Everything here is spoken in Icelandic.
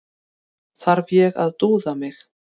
Þarf ég að dúða mig?